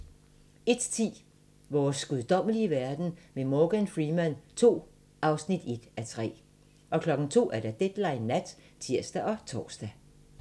01:10: Vores guddommelige verden med Morgan Freeman II (1:3) 02:00: Deadline Nat (tir og tor)